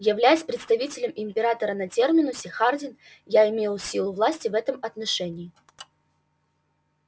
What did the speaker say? являясь представителем императора на терминусе хардин я имел силу власти в этом отношении